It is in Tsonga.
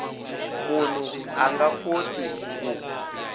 munhu a nga koti ku